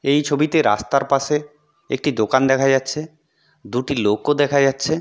এই ছবিতে রাস্তার পাশে একটি দোকান দেখা যাচ্ছে.। দুটি লোক ও দেখা যাচ্ছে।